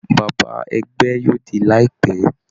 Bàbá ẹgbẹ́ yóò dé láìpẹ́